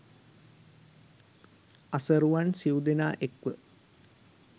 අසරුවන් සිව් දෙනා එක්ව